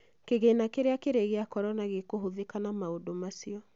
Kĩgĩna kĩtĩa kĩrĩ gĩa korona gĩkũhũthĩka na maũndũ macio